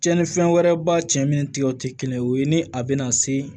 Cɛnnifɛn wɛrɛba cɛ minnu tigɛ tɛ kelen ye o ye ni a bɛna se